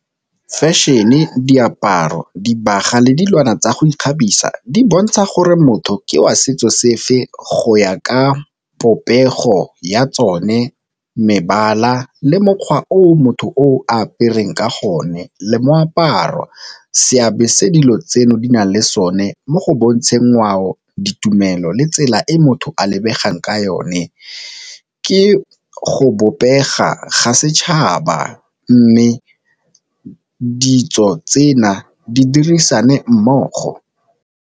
Fashion-e, diaparo, dibagwa le dilwana tsa go ikgabisa di bontsha gore motho ke wa setso sefe go ya ka popego ya tsone, mebala le mokgwa o motho o apereng ka gonne le moaparo. Seabe se dilo tseno di nang le sone mo go bontsha ngwao, ditumelo le tsela e motho a lebegang ka yone, ke go bobega ga setšhaba mme ditso tsena di dirisane mmogo.